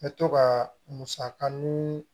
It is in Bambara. N bɛ to ka musakanin